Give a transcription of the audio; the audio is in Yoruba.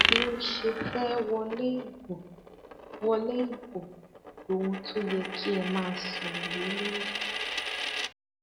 bí ó ṣe fẹ wọlé ibo wọlé ibo loun tó yẹ kí ẹ máa sọrọ lé lórí